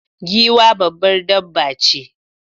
Giwa babbar dabba ce